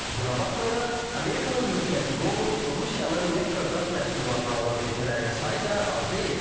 Buna baxmayaraq Amerikanın müttəfiqi olub Rusiyanın neft və qaz məhsullarını alan ölkələrin sayı da az deyil.